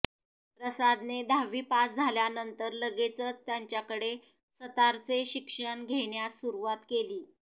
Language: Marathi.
प्रसादने दहावी पास झाल्यानंतर लगेचच त्यांच्याकडे सतारचे शिक्षण घेण्यास सुरुवात केली